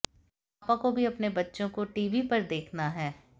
पापा को भी अपने बच्चे को टीवी पर देखना है